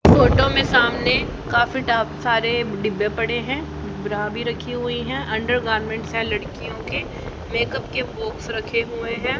Photo में सामने काफी टा सारे डिब्बे पड़े हैं ब्रा भी रखी हुई है अंडरगारमेंट्स है लड़कियों के मेकअप के बॉक्स रखे हुए हैं।